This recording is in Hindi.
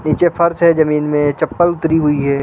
पीछे फर्श है जमीन में चप्पल उतरी हुई है।